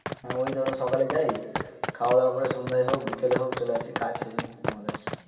ঐ ধরো সকালে যাই খাওয়া দাওয়া করে সন্ধ্যায় হক বিকেল এ হক চলে আসি কাছেই আমাদের